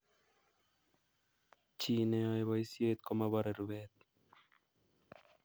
Chineyoei boisiet komoborei rubet